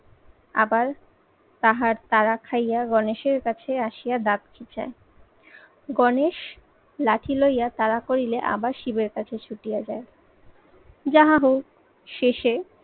আবার তাহার তারা খাইয়া গণেশের কাছে আসিয়া দাঁত খিঁচায়। গণেশ লাঠি লইয়া তাড়া করিলে আবার শিবের কাছে ছুটিয়ে যায়। শেষে